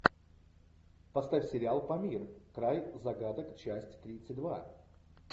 поставь сериал памир край загадок часть тридцать два